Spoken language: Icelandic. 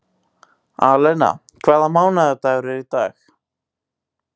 Alena, hvaða mánaðardagur er í dag?